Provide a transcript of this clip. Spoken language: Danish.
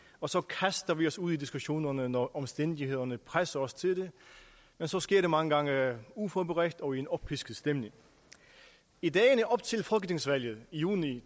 og så kaster vi os ud i diskussionerne når omstændighederne presser os til det men så sker det mange gange uforberedt og i en oppisket stemning i dagene op til folketingsvalget i juni